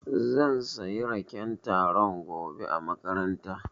Zan sayi raken taro gobe a makaranta.